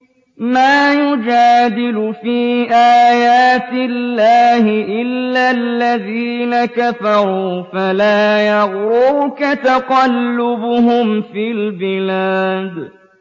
مَا يُجَادِلُ فِي آيَاتِ اللَّهِ إِلَّا الَّذِينَ كَفَرُوا فَلَا يَغْرُرْكَ تَقَلُّبُهُمْ فِي الْبِلَادِ